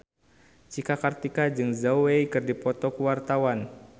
Cika Kartika jeung Zhao Wei keur dipoto ku wartawan